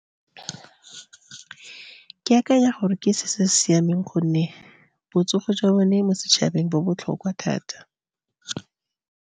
Ke akanya gore ke se se siameng, gonne botsogo jwa bone mo setšhabeng bo botlhokwa thata.